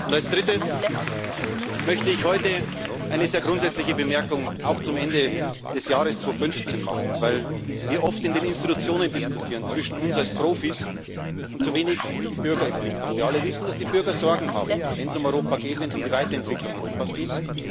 Als Drittes möchte ich heute ein sehr grundsätzliche Bemerkung auch zum Ende des Jahres 2015 machen, weil wir oft in den Institutionen diskutieren zwischen uns als Profis und zu wenig die Bürger im Blick haben. Wir alle wissen, dass die Bürger Sorgen haben, wenn es um Europa geht, wenn es um die Weiterentwicklung Europas geht.